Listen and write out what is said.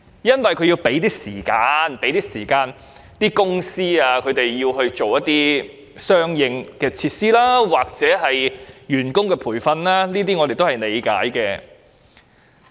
政府的目的，是要為公司預留時間準備相應設施及員工培訓，我們對此表示理解。